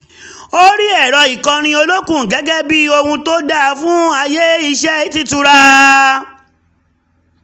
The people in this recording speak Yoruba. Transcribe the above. ó rí ẹ̀rọ ìkọrin olókun gẹ́gẹ́ bí ohun tó dáa fún àyè iṣẹ́ t'ítura